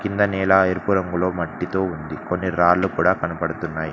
కింద నేల ఎరుపు రంగులో మట్టితో ఉంది కొన్ని రాళ్లు కూడా కనబడుతున్నాయ్.